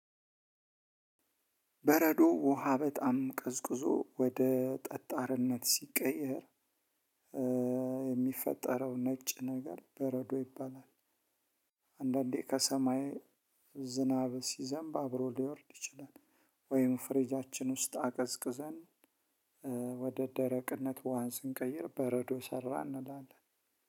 በረዶ ውሃ በጣም ቀዝቅዞ ወደ ጠጣርነት ሲቀየር የሚፈጠረው ነጭ ነገር በረዶ ይባላል። አንዳንዴ ከሰማይ ዝናብ ሲዘንብ አብሮ ሊወርድ ይችላል። ወይም ፍሪጃችን ውስጥ አቀዝቅዘን ወደ ደረቅነት ውሃን ስንቀይር በረዶ ሰራ እንላለን።